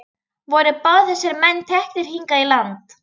Voru báðir þessir menn teknir hingað í land.